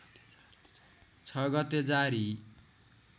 ६ गते जारी